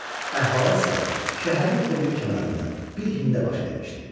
Əhvalat isə şəhərin o biri kənarında bir hində baş vermişdi.